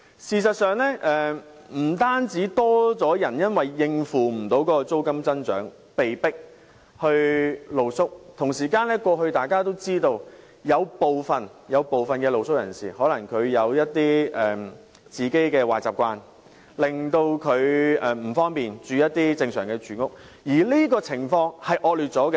事實上，不但有更多人因無法應付租金增長而被迫露宿，同時大家也知道，以往有部分露宿人士可能因其個人的壞習慣而不便於正常居所居住，而這種情況已變得更惡劣。